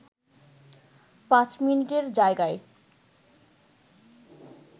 পাঁচ মিনিটের জায়গায়